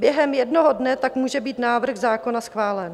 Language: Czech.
Během jednoho dne tak může být návrh zákona schválen.